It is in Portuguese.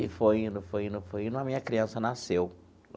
E foi indo, foi indo, foi indo, a minha criança nasceu.